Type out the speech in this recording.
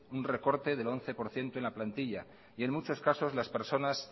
un recorte del once por ciento de la plantilla y en muchos casos las personas